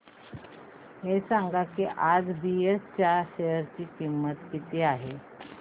हे सांगा की आज बीएसई च्या शेअर ची किंमत किती आहे